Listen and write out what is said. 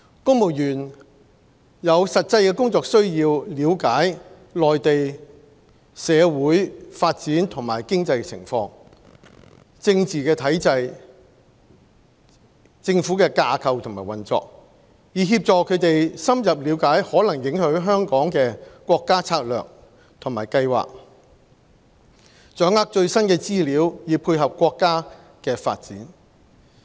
公務員有實際的工作需要了解內地社會發展和經濟情況、政治體制、政府架構及運作，以協助他們深入理解可能影響香港的國家策略和計劃，掌握最新的資料以配合國家的發展。